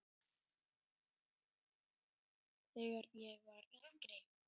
Þegar ég var yngri.